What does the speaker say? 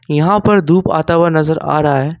यहां पर धूप आता हुआ नजर आ रहा है।